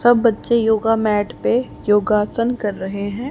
सब बच्चे yoga mat पे योगासन कर रहे हैं।